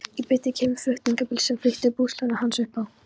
Í bítið kemur flutningabíll sem flytur búslóðina hans upp á